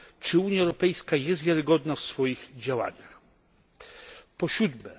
Czy Unia Europejska jest wiarygodna w swoich działaniach? 7.